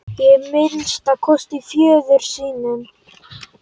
Að minnsta kosti föður sínum.